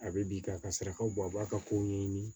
A bɛ bi ka sarakaw bɔ a b'a ka kow ɲɛɲini